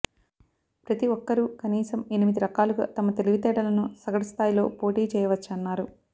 ప్రతి ఒక్కరూ కనీసం ఎనిమిది రకాలుగా తమ తెలివితేటలను సగటు స్ధాయిలో పోటీ చేయవచ్చన్నారు